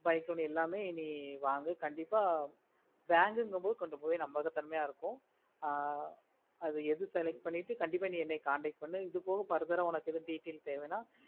bike எல்லாமே நீ வாங்கு கண்டிப்பா bank குகபோது கொஞ்சம் கம்மியா இருக்கும் ஆஹ் அது எது correct பண்ணிட்டு கண்டிப்பா நீ contact பண்ணு எது பொது உன்னக்கு futhur detail தேவனை